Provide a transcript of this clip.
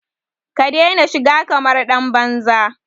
Ka daina shiga kamar ɗan banza!